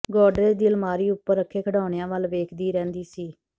ਗੌਡਰੇਜ ਦੀ ਅਲਮਾਰੀ ਉਪਰ ਰੱਖੇ ਖਿਡੌਣਿਆਂ ਵਲ ਵੇਖਦੀ ਰਹਿੰਦੀ ਸੀ